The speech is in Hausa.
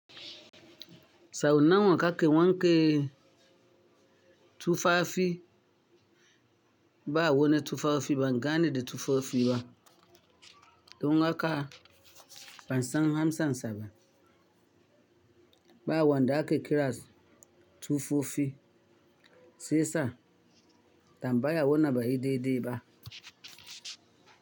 Sau nawan kake wanke tufafi ba a wo ni tufafi ban gane da tufafi ba. Don haka bansan hamsan saba ba a wanda ake kirans tufafi sesa tan baya wo naba yi de de ba.